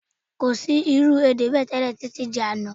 Kò sí irú èdè bẹ́ẹ̀ tẹ́lẹ̀ títí di àná